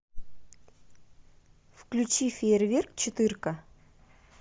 включи фейерверк четырка